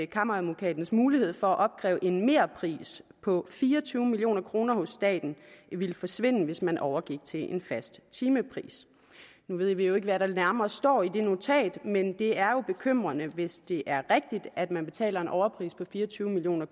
kammeradvokatens mulighed for at opkræve en merpris på fire og tyve million kroner hos staten ville forsvinde hvis man overgik til en fast timepris nu ved vi jo ikke hvad der nærmere står i det notat men det er jo bekymrende hvis det er rigtigt at man betaler en overpris på fire og tyve million